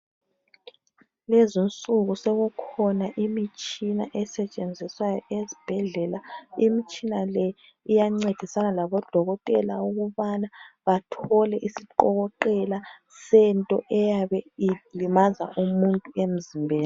Lezinsuku sokukhona imitshina esetshenziswayo ezibhedlela. Imitshina le iyancedisana laboDokotela, ukubana bathole isiqokoqela sento eyabe ilimaza umuntu emzimbeni.